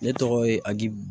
Ne tɔgɔ ye abu